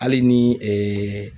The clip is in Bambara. Hali ni